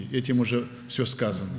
Bununla hər şey deyilmiş oldu.